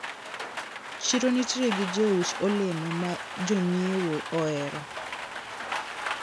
Chiro nitiere gi jous olemo ma jonyiewo ohero.